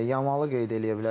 Yamalı qeyd eləyə bilərik.